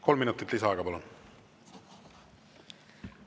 Kolm minutit lisaaega, palun!